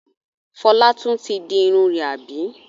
Fọlá tún ti di irun rẹ̀, àbí?